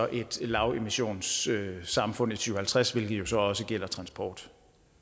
et lavemissionssamfund i to tusind og halvtreds hvilket jo så også gælder transport